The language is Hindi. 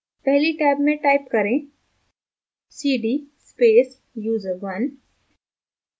पहली टैब में type करें cd space user1